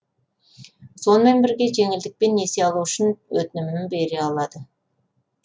сонымен бірге жеңілдікпен несие алу үшін өтінімді бере алады